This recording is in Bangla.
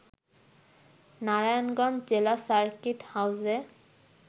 নারায়ণগঞ্জ জেলা সার্কিট হাউজে